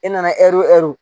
E nana ɛri